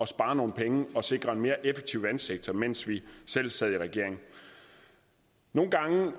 spare nogle penge og sikre en mere effektiv vandsektor mens vi selv sad i regering nogle gange